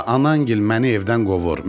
Bala, anaın gil məni evdən qovur.